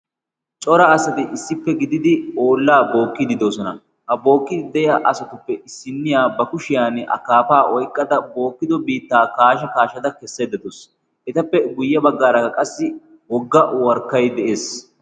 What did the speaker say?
cora asati issippe gididi ollaa bookkiddi doosona. ha bookkidi de7iya asatuppe issinniya ba kushiyan akaafaa oyqqada bookkido biittaa kaasha kaashada kessaydda dawusu. etappe guyye baggaaraka qassi wogga warkkay de7ees.